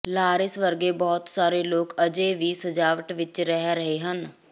Lawrence ਵਰਗੇ ਬਹੁਤ ਸਾਰੇ ਲੋਕ ਅਜੇ ਵੀ ਸਜਾਵਟ ਵਿਚ ਰਹਿ ਰਹੇ ਹਨ